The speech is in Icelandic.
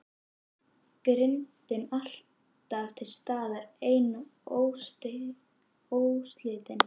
Girndin alltaf til staðar ein og óslitin.